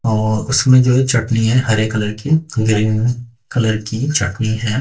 और उसमें जो है चटनी है हरे कलर की ग्रीन कलर की चटनी है।